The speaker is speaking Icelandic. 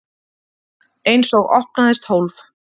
Einsog opnaðist hólf.